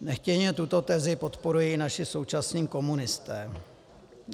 Nechtěně tuto tezi podporují i naši současní komunisté.